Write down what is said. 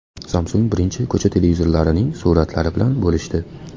Samsung birinchi ko‘cha televizorining suratlari bilan bo‘lishdi.